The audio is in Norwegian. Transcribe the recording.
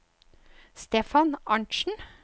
Stefan Arntsen